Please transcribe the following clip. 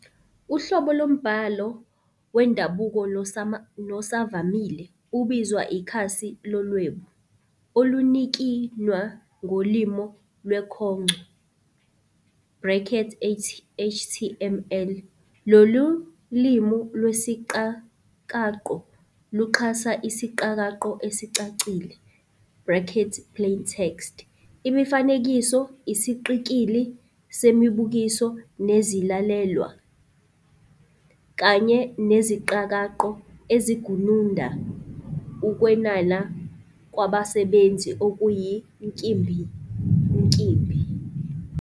Uhlobo lombhalo wendabuko nosavamile ubizwa ikhasi lolwebu, olunikinwa ngoLimi lweKhongco brackets HTML". Lolu limi lwesiqakaqo luxhasa isiqakaqo esicacile brackets plain text", imifanekiso, isiqikili semibukiso nezilalelwa, kanye neziqakaqo ezigununda ukwenanana kwabasebenzisi okuyinkimbinkimbi.